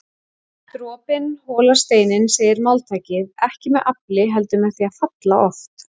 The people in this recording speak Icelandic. Dropinn holar steininn segir máltækið, ekki með afli heldur með því að falla oft